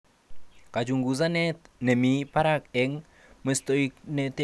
Kachunguzanet nemi barak eng muswoknotet netoret programishekab TPD